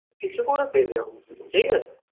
কিছু করে পেতে হবে ঠিকাছে।